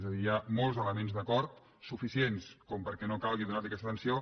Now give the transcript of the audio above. és a dir hi ha molts elements d’acord suficients perquè no calgui donar hi aquesta tensió